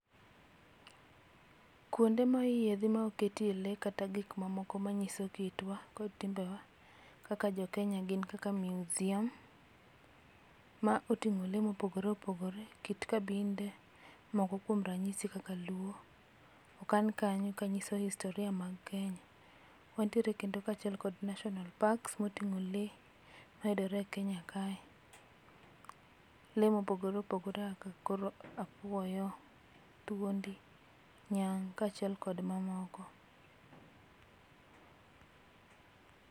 Kuonde moyiedhe ma oketie lee kata gik mamoko manyiso kitwa gi timbewa kaka jo Kenya gin kaka museum motingo lee mopogore opogore, kit kabinde moko kuom ranyisi kaka luo okan kanyo kanyiso historia mag Kenya. Wan tiere kendo kachiel kod national parks motingo lee mayudore e Kenya kae, lee mopogore mopogore kaka apuoyo, thuondi, nyang' kachiel kod mamoko